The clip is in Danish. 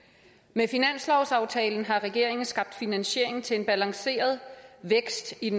med finanslovsaftalen har regeringen skabt finansiering til en balanceret vækst i